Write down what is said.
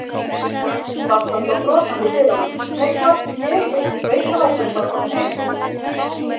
Dadda stóð brosandi í dyrunum: Nei, hvað sé ég, sveitavargurinn bara kominn heim.